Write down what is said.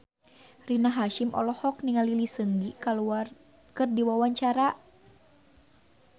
Rina Hasyim olohok ningali Lee Seung Gi keur diwawancara